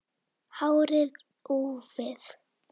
Hárið úfið.